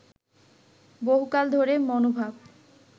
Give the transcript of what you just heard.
বহুকাল ধরেই মনোভাব